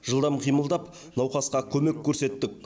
жылдам қимылдап науқасқа көмек көрсеттік